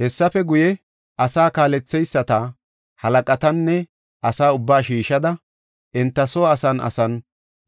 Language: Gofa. Hessafe guye, asa kaaletheyisata, halaqatanne asa ubbaa shiishada enta soo asan asan